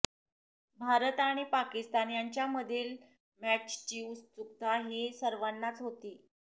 भारत आणि पाकिस्तान यांच्यामधील मॅचची उत्सुकता ही सर्वांनाच होती